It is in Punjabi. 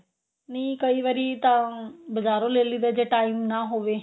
ਨਹੀਂ ਕਈ ਵਾਰੀ ਤਾਂ ਬਜਾਰੋਂ ਲੈ ਲਈਦਾ ਜੇ time ਨਾ ਹੋਵੇ